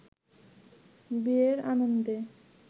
বিয়ের আনন্দে